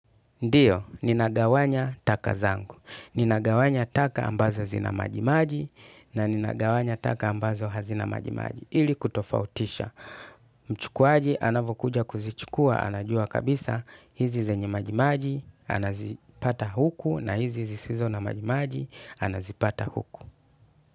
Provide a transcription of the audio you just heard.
Ndio, nina gawanya taka zangu. Nina gawanya taka ambazo zina majimaji na ninagawanya taka ambazo hazina majimaji. Ili kutofautisha. Mchukuaji anavokuja kuzichukua anajua kabisa. Hizi zenye majimaji anazipata huku na hizi zisizo na majimaji anazipata huku.